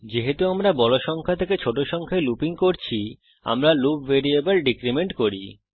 যেহেতু আমরা বড় সংখ্যা থেকে ছোট সংখ্যায় লুপিং করছি আমরা লুপ ভ্যারিয়েবল ডিক্রিমেন্ট করি